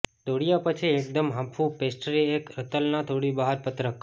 દોડ્યા પછી એકદમ હાંફવું પેસ્ટ્રી એક રતલના થોડી બહાર પત્રક